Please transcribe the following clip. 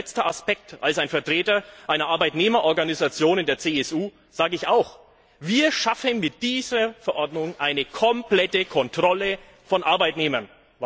Und ein letzter Aspekt Als Vertreter einer Arbeitnehmerorganisation in der CSU sage ich auch, wir schaffen mit dieser Verordnung eine komplette Kontrolle von Arbeitnehmern.